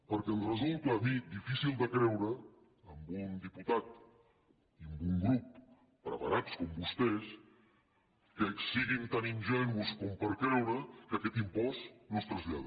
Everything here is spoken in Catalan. perquè em resulta a mi difícil de creure amb un diputat i amb un grup preparats com vostès que siguin tan ingenus per creure que aquest impost no es trasllada